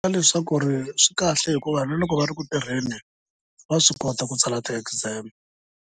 Leswaku swikahle hikuva na loko va ri ku tirheni va swi kota ku tsala ti-exam.